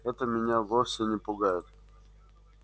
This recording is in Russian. это меня вовсе не пугает